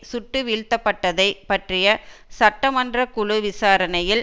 சுட்டு வீழ்த்தப்பட்டதை பற்றிய சட்டமன்ற குழு விசாரணையில்